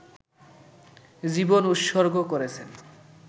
জীবন উৎসর্গ করেছেন